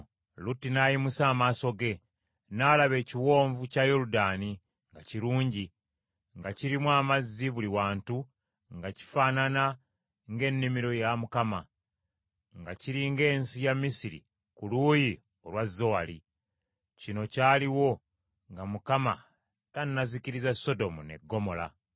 Lutti n’ayimusa amaaso ge, n’alaba ekiwonvu kya Yoludaani nga kirungi, nga kirimu amazzi buli wantu nga kifaanana ng’ennimiro ya Mukama ; nga kiri ng’ensi ya Misiri ku luuyi olwa Zowaali. Kino kyaliwo nga Mukama tannazikkiriza Sodomu ne Ggomola.